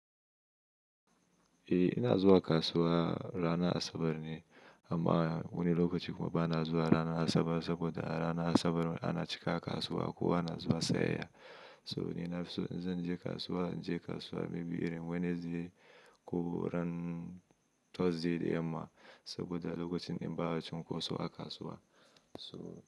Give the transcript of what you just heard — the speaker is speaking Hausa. Eh ina zuwa kasuwa ranar Asabar ne amma wani lokaci kuma ba na zuwa ranar Asabar saboda a ranar Asabar ana cika kasuwa ko ana zuwa tsayayya. So ni na in zan je kasuwa, in je kasuwa maybe irin Wednesday ko ran Thursday da yamma saboda lokacin in ba a cunkoso a kasuwa. So.